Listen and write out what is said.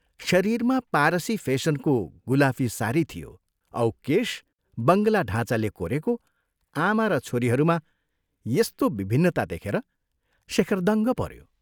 शरीरमा पारसी फेसनको गुलाफी सारी थियो औ केश बंगला ढाँचाले कोरेको आमा र छोरीहरूमा यस्तो विभिन्नता देखेर शेखर दङ्ग पऱ्यो।